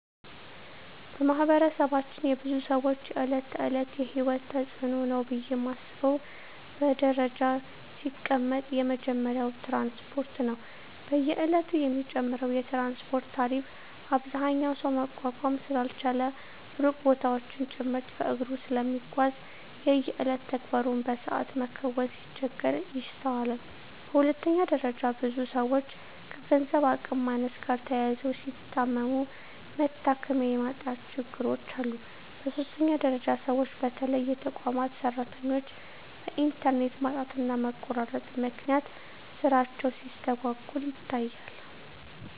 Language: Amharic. በማህበረሰባችን የብዙ ሰወች የእለት ተእለት የሂወት ተጽኖ ነው ብየ ማስበው በደረጃ ሲቀመጥ የመጀመሪያው ትራንስፓርት ነው። በየእለቱ የሚጨምረው የትራንስፓርት ታሪፍ አብዛኛው ሰው መቋቋም ስላልቻለ ሩቅ ቦታወችን ጭምርት በእግሩ ስለሚጓዝ የየእለት ተግባሩን በሰአት መከወን ሲቸገር ይስተዋላል። በሁለተኛ ደረጃ ብዙ ሰወች ከገንዘብ አቅም ማነስ ጋር ተያይዞ ሲታመሙ መታከሚያ የማጣት ችግሮች አሉ። በሶስተኛ ደረጃ ሰወች በተለይ የተቋማት ሰራተኞች በእንተርኔት ማጣትና መቆራረጥ ምክንያት ስራቸው ሲስተጓጎል ይታያል።